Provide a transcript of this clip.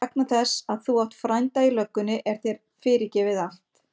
En vegna þess að þú átt frænda í löggunni er þér fyrirgefið allt.